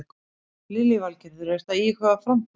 Lillý Valgerður: Ertu að íhuga framboð?